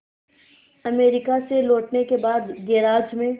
America से लौटने के बाद गैराज में